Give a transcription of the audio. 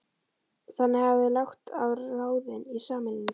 Þannig hafa þeir lagt á ráðin í sameiningu